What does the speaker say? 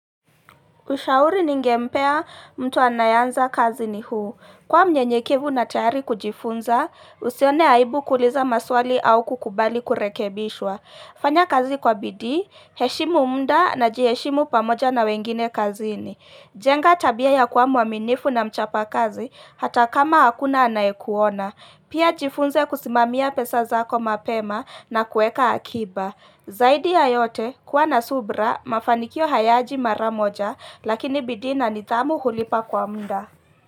Ushauri ningempea mtu anayanza kazi ni huu. Kwa mnyenye kevu na tayari kujifunza, usione aibu kuuliza maswali au kukubali kurekebishwa. Fanya kazi kwa bidii, heshimu muda na jiheshimu pamoja na wengine kazi ni. Jenga tabia ya kuwa muaminifu na mchapa kazi, hata kama hakuna anayekuona. Pia jifunze kusimamia pesa zako mapema na kueka akiba. Zaidi ya yote kuwa na subra mafanikio hayaji mara moja lakini bidii na nidhamu hulipa kwa muda.